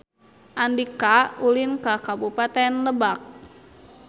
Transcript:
Andika ulin ka Kabupaten Lebak